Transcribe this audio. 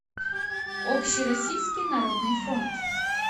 общероссийский народный фронт